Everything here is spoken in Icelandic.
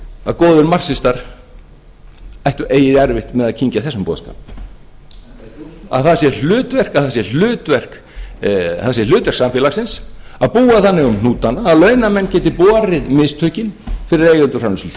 að góðir marxistar ættu eigi erfitt með að kyngja þessum boðskap að það sé hlutverk samfélagsins að búa þannig um hnútana að launamenn geti borið mistökin fyrir eigendur